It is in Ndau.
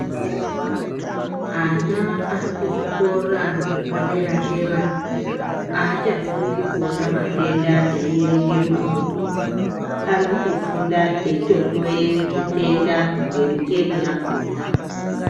Ana ari kuzvikora zvepa dera dera achafundi kuona matenda eyierenge mumabhuku. Ari kutofunda eitohloye zvitenda ngemucheni yakona.